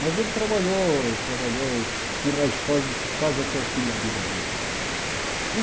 Mas ele trabalhou trabalhou em raios cósmicos quase até o fim da vida dele. E